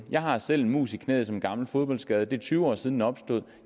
jeg har selv en mus i knæet som er en gammel fodboldskade det er tyve år siden den opstod